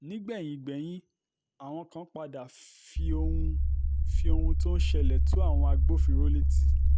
nígbẹ̀yìn gbẹ́yín àwọn kan padà fi ohun fi ohun tó ń ṣẹlẹ̀ tó àwọn agbófinró létí